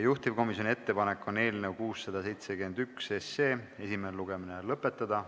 Juhtivkomisjoni ettepanek on eelnõu 671 esimene lugemine lõpetada.